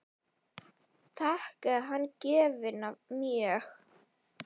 Þakkaði hann gjöfina mjög.